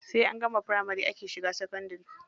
Sai an gama firamari ake shiga sakandari.